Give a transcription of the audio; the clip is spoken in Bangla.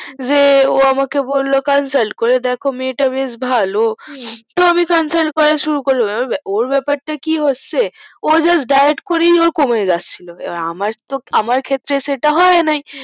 যে ও আমাকে বললো consult করে দেখ মেয়েটা বেশ ভালো তো আমি consult করা শুরু করলাম ওর ব্যাপার তা কি হচ্ছে জাস্ট ডাইয়েট করেই কমে যাচ্ছিলো আমার ক্ষেত্রে সেটা হয়নাই